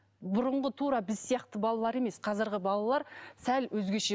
бұрынғы тура біз сияқты балалар емес қазіргі балалар сәл өзгеше